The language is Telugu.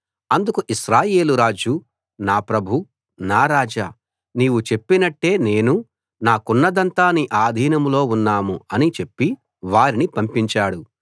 అందుకు ఇశ్రాయేలు రాజు నా ప్రభూ నా రాజా నీవు చెప్పినట్టే నేనూ నాకున్నదంతా నీ ఆధీనంలో ఉన్నాం అని చెప్పి వారిని పంపించాడు